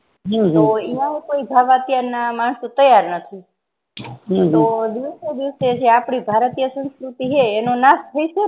હું તો યા કોઈ જાવા ત્યાં ના માણસો જવા તૈયાર નથી તો દીવસે દિવસે જે આપણી ભારતિય સંસ્ફુર્તિ હૈ નાશ થઇ સેને